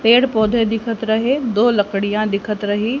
पेड़ पौधे दिखत रहे दो लड़कियां दिखत रही।